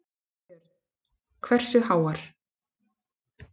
Björn: Hversu háar?